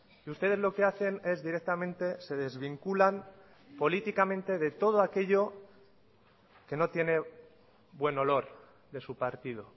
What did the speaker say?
y ustedes lo que hacen es directamente se desvinculan políticamente de todo aquello que no tiene buen olor de su partido